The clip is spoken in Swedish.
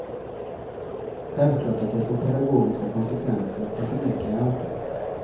Självklart att det får pedagogiska konsekvenser, det förnekar jag inte.